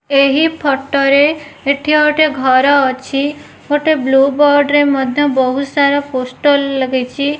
ଏହି ଫଟୋ ରେ ଏଠି ଗୋଟେ ଘର ଅଛି ଗୋଟେ ବ୍ଲୁ ବୋର୍ଡ଼ ରେ ମଧ୍ୟ ବହୁତସାରା ପୋଷ୍ଟର ଲାଗିଚି ।